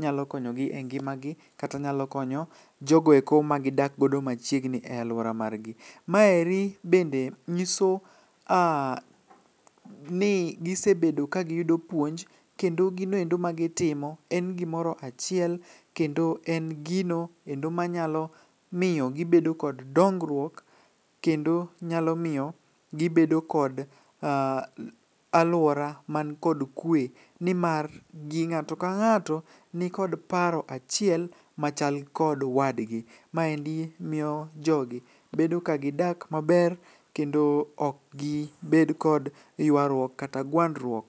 nyalo konyo gi e ngima gi. Kata nyalo konyo jogoeko ma gidak godo machiegni e alwora margi. Maeri bende nyiso ni gisebedo ka giyudo puonj, kendo ginoendo ma gitimo en gimoro achiel, kendo en gino kendo manyalo miyo gibedo kod dongruok. Kendo nyalo miyo gibedo kod alwora man kod kwe, nimar gi ng'ato ka ng'ato nikod paro achiel machal kod wadgi. Maendi miyo jogi bedo ka gidak maber kendo ok gibed kod ywaruok kata gwandruok.